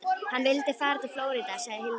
Hann vildi fara til Flórída, sagði Hildur.